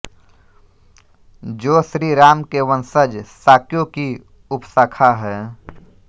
जो श्री राम के वंशज शाक्यों की उपशाखा हैं